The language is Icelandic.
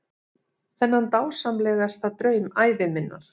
Þennan dásamlegasta draum ævi minnar.